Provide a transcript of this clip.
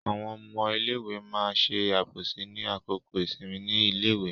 Àwọn ọmọ iléèwé ma ṣe àbòsí ní àkókò ìsinmi ní iléèwé.